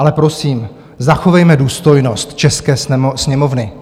Ale prosím, zachovejme důstojnost české Sněmovny.